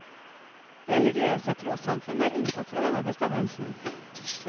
Religiøse trossamfunn er unntatt fra denne bestemmelsen.